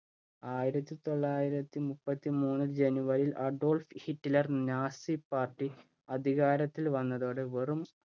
ആയിരത്തി തൊള്ളായിരത്തി മുപ്പത്തി മൂന്ന് january യിൽ‍ അഡോൾഫ് ഹിറ്റ്ലര്‍ നാസി പാർട്ടി അധികാരത്തിൽ വന്നതോടെ വെറും